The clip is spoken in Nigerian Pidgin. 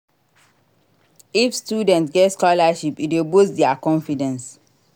If students get scholarship e dey boost their confidence